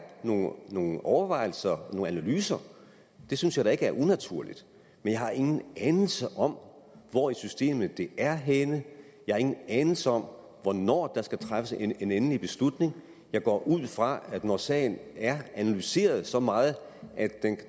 nogle overvejelser nogle analyser synes jeg da ikke er unaturligt men jeg har ingen anelse om hvor i systemet de er henne jeg har ingen anelse om hvornår der skal træffes en endelig beslutning jeg går ud fra at når sagen er analyseret så meget at